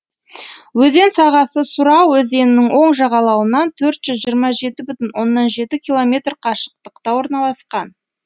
өзен сағасы сұра өзенінің оң жағалауынан төрт жүз жиырма жеті бүтін оннан жеті километр қашықтықта орналасқан